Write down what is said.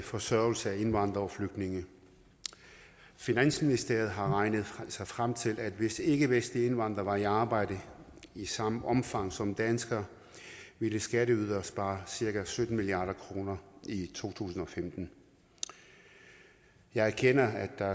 forsørgelse af indvandrere og flygtninge finansministeriet har regnet sig frem til at hvis ikkevestlige indvandrere var i arbejde i samme omfang som danskere ville skatteyderne have sparet cirka sytten milliard kroner i to tusind og femten jeg erkender at der